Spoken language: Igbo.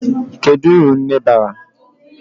Kedu uru nne bara?